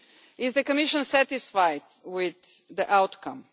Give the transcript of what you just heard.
Is the Commission satisfied with the outcome?